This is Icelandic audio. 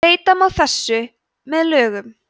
breyta má þessu með lögum